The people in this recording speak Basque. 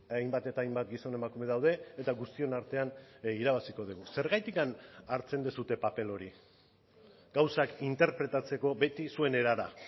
hainbat eta hainbat gizon emakume daude eta guztion artean irabaziko dugu zergatik hartzen duzue paper hori gauzak interpretatzeko beti zuen erara